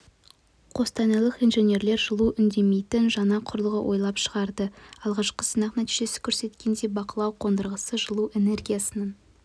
қостанайлық инженерлер жылу үнемдейтін жаңа құрылғы ойлап шығарды алғашқы сынақ нәтижесі көрсеткендей бақылау қондырғысы жылу энергиясының